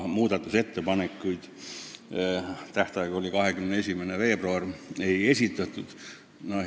Muudatusettepanekuid, mille tähtaeg oli 21. veebruar, ei esitatud.